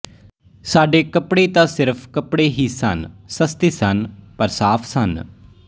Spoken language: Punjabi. ਸਾਡੇ ਕੱਪੜੇ ਤਾਂ ਸਿਰਫ਼ ਕੱਪੜੇ ਹੀ ਸਨ ਸਸਤੇ ਸਨ ਪਰ ਸਾਫ਼ ਸਨ